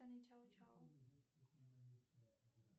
чао чао